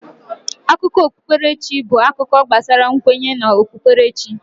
Akụkọ okpukpere chi bụ akụkọ gbasara nkwenye na okpukperechi.